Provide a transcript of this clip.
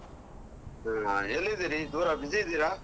ಹಾ ಎಲ್ಲಿದ್ದೀರಿ, ದೂರ busy ಇದ್ದೀರಾ?